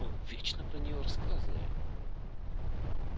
он вечно про неё рассказывает